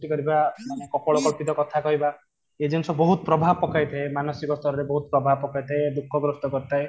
କରୁଥିବା ବା କପାଳ କଳ୍ପିତ କଥା କହିବା ଏଇ ଜିନିଷ ବହୁତ ପ୍ରଭାବ ପକେଇଥାଏ ମାନସିକ ସ୍ତର ରେ ବହୁତ ପ୍ରଭାବ ପକେଇଥାଏ ଦୁଃଖ ଗ୍ରସ୍ତ କରିଥାଏ